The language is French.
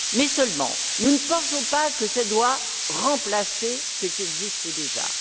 Seulement, nous ne pensons pas que cela doive remplacer ce qui existe déjà.